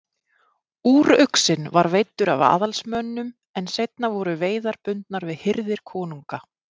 Úruxinn var veiddur af aðalsmönnum en seinna voru veiðar bundnar við hirðir konunga.